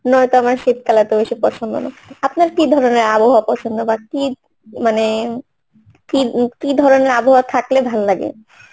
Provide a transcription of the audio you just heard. নয়তো আমার শীতকাল এতবেশী পছন্দ নয় আপনার কি ধরনের আবহাওয়া পছন্দ বা কি মানে কি কি ধরনের আবহাওয়া থাকলে ভাল লাগে?